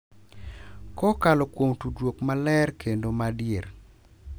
Kokalo kuom tudruok maler kendo ma adier,